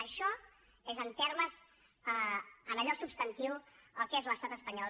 això és en allò substantiu el que és l’estat espanyol